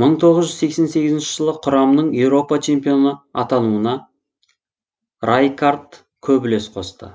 мың тоғыз жүз сексен сегізінші жылы құрамның еуропа чемпионы атануына райкаард көп үлес қосты